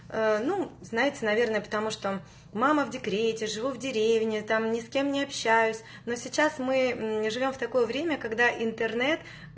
ну знаете наверное потому что мама в декрете живу в деревне там ни с кем не общаюсь но сейчас мы не живём в такое время когда интернет